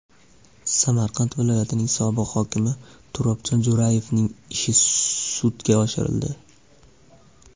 Samarqand viloyatining sobiq hokimi Turobjon Jo‘rayevning ishi sudga oshirildi.